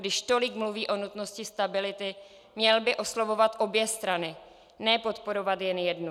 Když tolik mluví o nutnosti stability, měl by oslovovat obě strany, ne podporovat jen jednu.